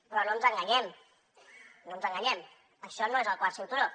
però no ens enganyem no ens enganyem això no és el quart cinturó